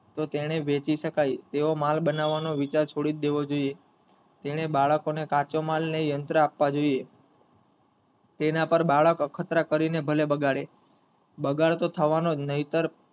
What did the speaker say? તો તેને વેચી શકાય તેવો માલ બનવાનો વિચાર છોડી દેવો જોયે તેને બાળકો ને કાચો માલ અને યંત્રો આપવા જોયે તેના પર બાળકો અખતરા કરી ને ભલે બગાડે બગાડ તો થવા નો જ નહીંતર,